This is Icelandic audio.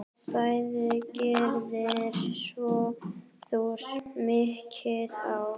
Bæði gerðir þú mikið af.